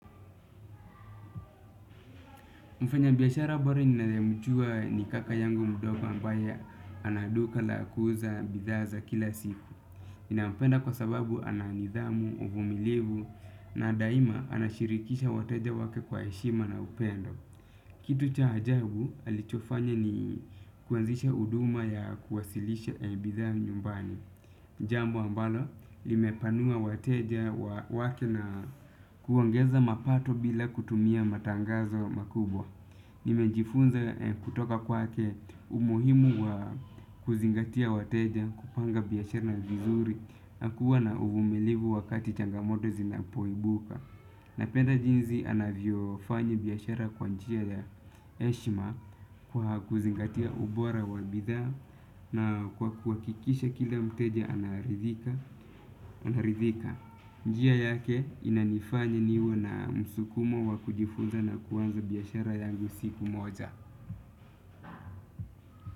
Mfanyabiashara bora ninayemjua ni kaka yangu mdogo ambaye ana duka la kuuza bidhaa za kila siku. Ninampenda kwasababu ana nidhamu, uvumilivu na daima anashirikisha wateja wake kwa heshima na upendo. Kitu cha ajabu alichofanya ni kuanzisha huduma ya kuwasilisha bidhaa nyumbani. Jambo ambalo limepanua wateja wake na kuongeza mapato bila kutumia matangazo makubwa. Nimejifunza kutoka kwake umuhimu wa kuzingatia wateja, kupanga biashara vizuri na kuwa na uvumilivu wakati changamoto zinapoibuka. Napenda jinsi anavyofanya biashara kwa njia ya heshima kwa kuzingatia ubora wa bidhaa na kwa kuhakikisha kila mteja anaridhika. Naridhika, njia yake inanifanya niwe na msukumo wa kujifunza na kuanza biashara yangu siku moja.